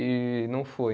E não fui.